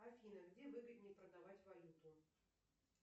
афина где выгоднее продавать валюту